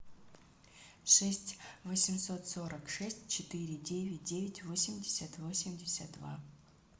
шесть восемьсот сорок шесть четыре девять девять восемьдесят восемьдесят два